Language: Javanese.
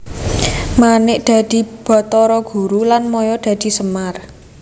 Manik dadi Bathara Guru lan Maya dadi Semar